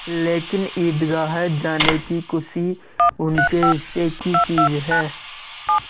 लेकिन ईदगाह जाने की खुशी उनके हिस्से की चीज़ है